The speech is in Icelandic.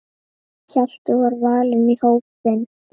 Hjalti var valinn í hópinn.